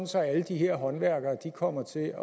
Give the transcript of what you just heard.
så alle de her håndværkere kommer til at